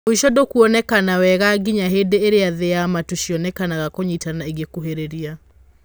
Mũico ndũkwonekana wega nginya hĩndĩ ĩrĩa thĩ na matu cionekanaga kũnyitana igũkuhĩrĩria.